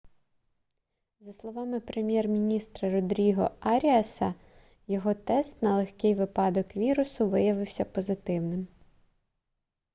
за словами прем'єр-міністра родріго аріаса його тест на легкий випадок вірусу виявився позитивним